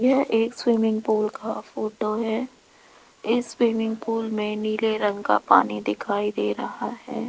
यह एक swimming pool का फोटो है इस स्विमिंग पूल में नीले रंग का पानी दिखाई दे रहा है।